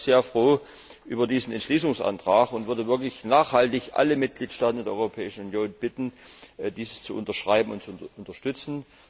Ich bin deshalb sehr froh über diesen Entschließungsantrag und würde wirklich nachhaltig alle Mitgliedstaaten in der Europäischen Union bitten, dies zu unterschreiben und zu unterstützen.